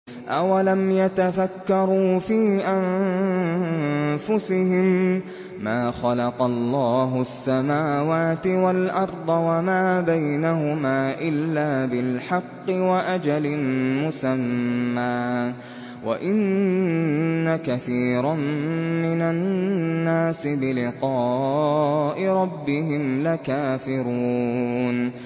أَوَلَمْ يَتَفَكَّرُوا فِي أَنفُسِهِم ۗ مَّا خَلَقَ اللَّهُ السَّمَاوَاتِ وَالْأَرْضَ وَمَا بَيْنَهُمَا إِلَّا بِالْحَقِّ وَأَجَلٍ مُّسَمًّى ۗ وَإِنَّ كَثِيرًا مِّنَ النَّاسِ بِلِقَاءِ رَبِّهِمْ لَكَافِرُونَ